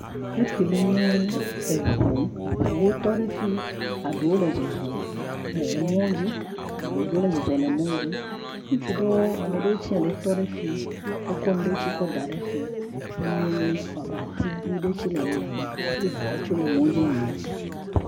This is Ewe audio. Efi le nye eŋu, eŋuwo tɔ ɖe fi, eɖewo le zɔzɔm le emɔa dzi, ŋutsu ɖewo, ame ɖewoe tse le tɔ ɖe fi. Wokɔ nuɖewo tse kɔ ɖa ɖe fi. Emiame woa be ativi ɖewo tsi le emia me hafi ŋuwo tse le fimi yim.